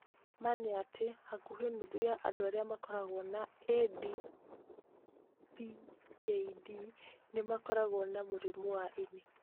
Ma nĩ atĩ, hakuhĩ nuthu ya andũ arĩa makoragwo na AD PKD nĩ makoragwo na mũrimũ wa ini.